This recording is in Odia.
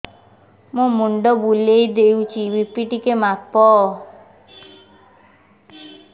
ମୋ ମୁଣ୍ଡ ବୁଲେଇ ହଉଚି ବି.ପି ଟିକେ ମାପ